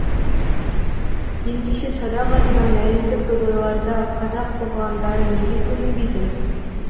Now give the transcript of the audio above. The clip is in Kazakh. ендеше садақ атудан әлемдік додаларда қазақ оғландары неге көрінбейді